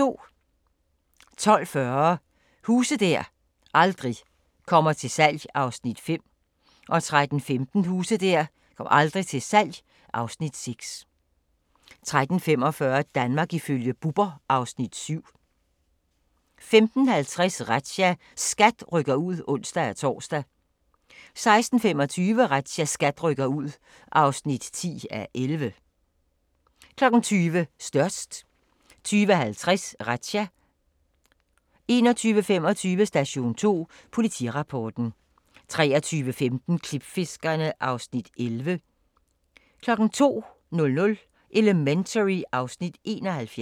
12:40: Huse der aldrig kommer til salg (Afs. 5) 13:15: Huse der aldrig kommer til salg (Afs. 6) 13:45: Danmark ifølge Bubber (Afs. 7) 15:50: Razzia – SKAT rykker ud (ons-tor) 16:25: Razzia – SKAT rykker ud (10:11) 20:00: Størst 20:50: Razzia 21:25: Station 2: Politirapporten 23:15: Klipfiskerne (Afs. 11) 02:00: Elementary (Afs. 71)